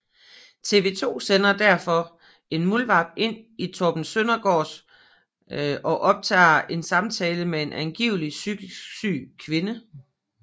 TV2 sender derfor en muldvarp ind til Torben Søndergaard og optager en samtale med en angivelig psykisk syg kvinde